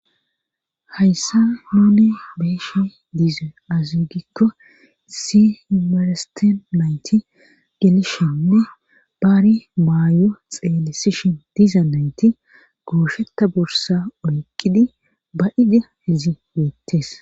hayssa nuni beyishe dizay aze gikko issi maresten nayti gelishennne baari maayo xeelisishin diza nayti goushetta bursa oyqqidi ba da hizi weettes